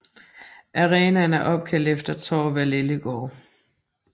Arenaen er opkaldt efter Thorvald Ellegaard